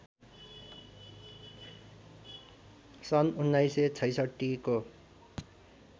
सन् १९६६ को